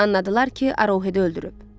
Anladılar ki, Arohedi öldürüb.